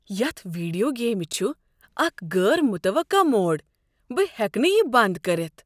یتھ ویڈیو گیمہ چھ اکھ غٲر متوقع موڑ۔ بہٕ ہٮ۪کہٕ نہٕ یہ بنٛد کٔرتھ۔